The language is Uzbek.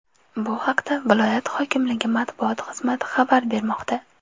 Bu haqda viloyat hokimligi matbuot xizmati xabar bermoqda .